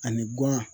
Ani guan